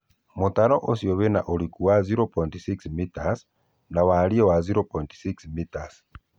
Mũtaro ũcio wĩna ũriku wa o.6 mitas na wariĩ wa 0.6 mitas